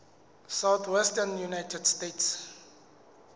southwestern united states